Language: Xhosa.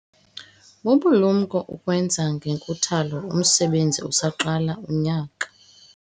Bubulumko ukuwenza ngenkuthalo umsebenzi usaqala unyaka.